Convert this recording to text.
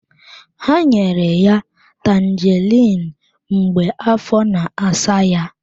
Ha nyere ya Tanjeriin mgbe afọ na-asa ya.